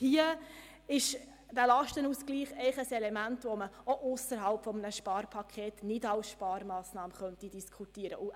Hier ist der Lastenausgleich ein Element, welches ausserhalb eines Sparpakets ebenfalls nicht als Sparmassnahme diskutiert werden könnte.